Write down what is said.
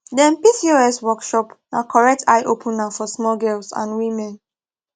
dem pcos workshop na correct eye opener for small girls and women